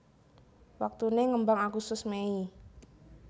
Waktuné ngembang Agustus Mei